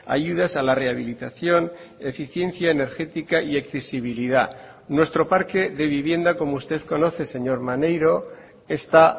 ayudas a la rehabilitación eficiencia energética y accesibilidad nuestro parque de vivienda como usted conoce señor maneiro está